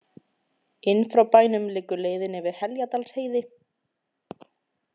Inn frá bænum liggur leiðin yfir Heljardalsheiði.